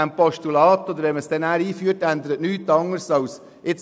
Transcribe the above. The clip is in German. Mit dem Postulat ändert sich nichts als das Folgende: